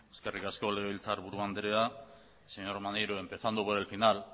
eskerrik asko legebiltzarburu andrea señor maneiro empezando por el final